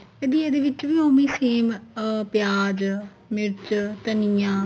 ਤੇ ਦੀ ਇਹਦੇ ਵਿੱਚ ਵੀ ਉਵੇ ਈ same ਅਹ ਪਿਆਜ ਮਿਰਚ ਧੰਨੀਆ